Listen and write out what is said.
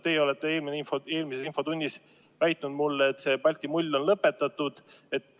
Teie aga eelmises infotunnis väitsite mulle, et Balti mull on lõpetatud.